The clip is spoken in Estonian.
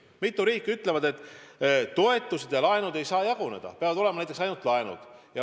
Mitu riiki ütleb, et toetused ja laenud ei saa jaguneda, peavad olema näiteks ainult laenud.